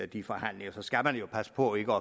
de forhandlinger så skal passe på ikke